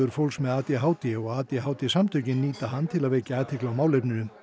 fólks með a d h d og a d h d samtökin nýta hann til að vekja athygli á málefninu